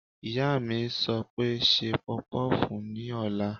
Ìyá mi sọ pé "ṣe pọpọ́fùù ní ọ̀la!"